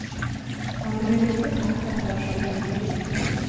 Man behöver inte packa för att skydda inredningen.